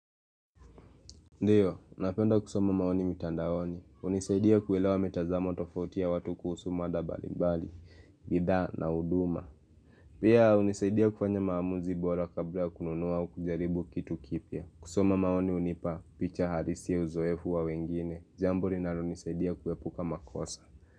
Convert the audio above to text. Ndiyo, napenda kusoma maoni mitandaoni. Hunisaidia kuelewa mitazamo tofoti ya watu kuhusu mada mbalimbali, bidhaa na huduma. Pia hunisaidia kufanya maamuzi bora kabla ya kununuwa au kujaribu kitu kipya. Kusoma maoni hunipa picha halisi ya uzoefu wa wengine. Jambo linalonisaidia kuepuka makosa.